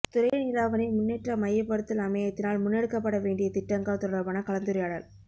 துறைநீலாவணை முன்னேற்ற மையப்படுத்தல் அமையத்தினால் முன்னெடுக்கப்படவேண்டிய திட்டங்கள் தொடர்பான கலந்துரையாடல்